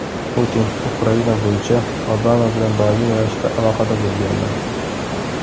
Putin: Ukraina bo‘yicha Obama bilan doimiy ravishda aloqada bo‘lganman.